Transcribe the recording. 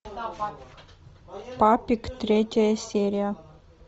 папик третья серия